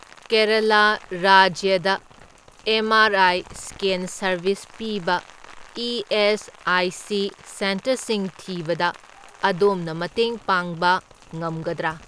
ꯀꯦꯔꯂꯥ ꯔꯥꯖ꯭ꯌꯗ M R I scan service ꯄꯤꯕ ESIC. ꯁꯦꯟꯇꯔꯁꯤꯡ ꯊꯤꯕꯗ ꯑꯗꯣꯝꯅ ꯃꯇꯦꯡ ꯄꯥꯡꯕ ꯉꯝꯒꯗ꯭ꯔꯥ?